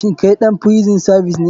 Shin kai ɗan frison savis ne?